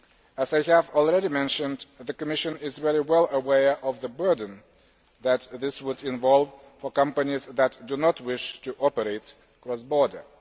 As I have already mentioned, the Commission is well aware of the burden that this would involve for companies that do not wish to operate cross border.